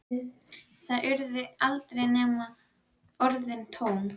Það urðu aldrei nema orðin tóm.